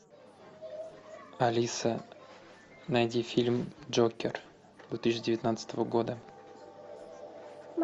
алиса найди фильм джокер две тысячи девятнадцатого года